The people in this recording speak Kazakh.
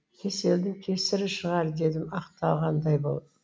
кеселдің кесірі шығар дедім ақталғандай болып